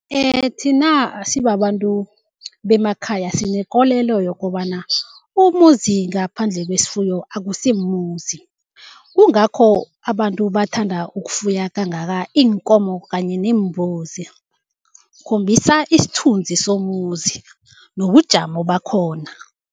Thina sibabantu bemakhaya sinekolela yokobana umuzi ngaphandle kwesifuyo akusimuzi, kungakho abantu bathanda ukufuya kangaka iinkomo kanye neembuzi, kukhombisa isithunzi somuzi nobujamo bakhona.